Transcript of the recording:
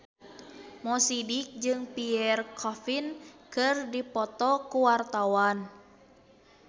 Mo Sidik jeung Pierre Coffin keur dipoto ku wartawan